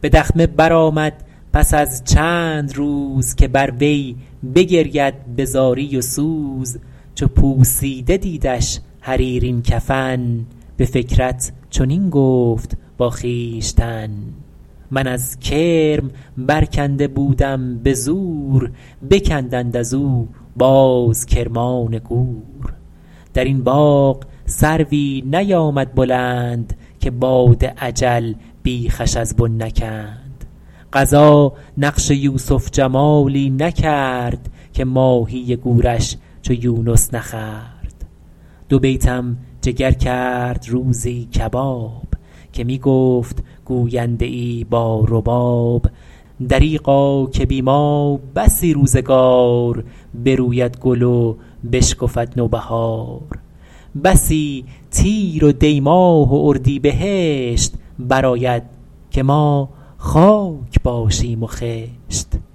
به دخمه برآمد پس از چند روز که بر وی بگرید به زاری و سوز چو پوسیده دیدش حریرین کفن به فکرت چنین گفت با خویشتن من از کرم برکنده بودم به زور بکندند از او باز کرمان گور در این باغ سروی نیامد بلند که باد اجل بیخش از بن نکند قضا نقش یوسف جمالی نکرد که ماهی گورش چو یونس نخورد دو بیتم جگر کرد روزی کباب که می گفت گوینده ای با رباب دریغا که بی ما بسی روزگار بروید گل و بشکفد نوبهار بسی تیر و دی ماه و اردیبهشت برآید که ما خاک باشیم و خشت